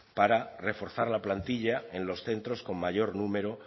para reforzar la plantilla en los centros con mayor número